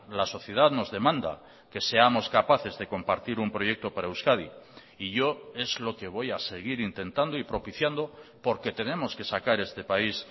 la sociedad nos demanda que seamos capaces de compartir un proyecto para euskadi y yo es lo que voy a seguir intentando y propiciando porque tenemos que sacar este país